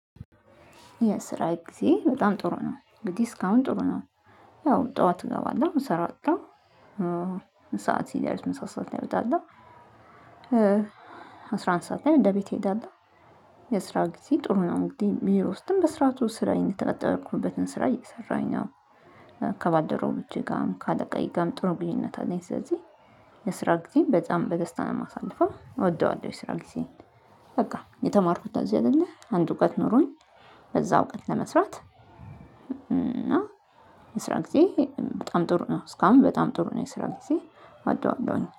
የስራ ጊዜ በጣም ጥሩ ነው እንግዲህ እስካሁን ጥሩ ነው። ያው ጠዋት እገባለሁ እንሰራለሁ። ሰዓት ሲዳርስ ምን ሰዓት ላይ ይሄዳል? አስራ አንድ ሰዓት ላይ እንደ ቤት ይሄዳል እሄዳለሁ። የስራ ጊዜ ጥሩ ነው እንግዲህ ቢሮ ውስጥም በስራቱ ስራ የተቀጠርኩበትን ስራ እየሰራኝ ነው። ከባልደረቦቸገር ጋርም ካለቃየ ጋርም ጥሩ ግንኙነት አለኝ። ስለዚህ ለስራ ጊዜም በጣም በደስታ ነው አሳልፋ እወደዋለሁ። የስራ ጊዜ። በቃ የተማርኩት ለዚህ አይደለ አንድ እውቀት ኖሮኝ። በዛ እውቀት ለመስራት እና የስራ ጊዜ በጣም ጥሩ ነው። እስካሁን በጣም ጥሩ ነው። የስራ ጊዜ እወደዋለሁኝ